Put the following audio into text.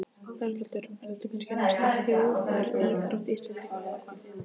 Berghildur, er þetta kannski næsta þjóðaríþrótt Íslendinga eða hvað?